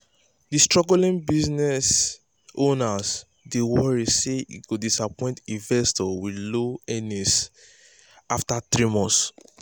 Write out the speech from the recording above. d struggling small business owner um dey worry say e go disappoint investors with low earnings um after um 3 months